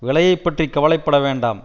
விலையைப் பற்றி கவலை பட வேண்டாம்